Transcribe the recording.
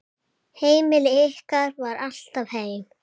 Heimili ykkar var alltaf heim.